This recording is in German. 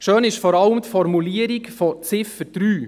Schön ist vor allem die Formulierung der Ziffer